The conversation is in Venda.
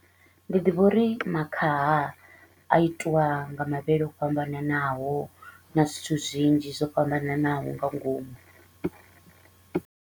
Ndi ḓivha uri makhaha a itiwa nga mavhele o fhambananaho na zwithu zwinzhi zwo fhambananaho nga ngomu.